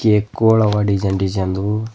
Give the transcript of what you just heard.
cake ಗೋಳವ design design ದು--